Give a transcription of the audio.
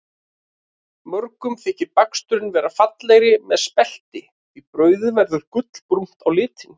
Mörgum þykir baksturinn verða fallegri með spelti því brauðið verður gullinbrúnt á lit.